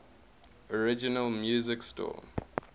original music score